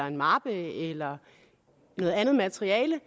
en mappe eller noget andet materiale